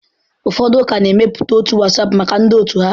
Ụfọdụ ụka na-emepụta otu WhatsApp maka ndị otu ha.